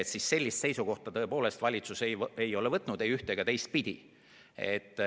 Ütlen, et sellist seisukohta tõepoolest valitsus võtnud ei ole, ei ühte- ega teistpidi.